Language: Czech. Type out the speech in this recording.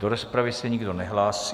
Do rozpravy se nikdo nehlásí.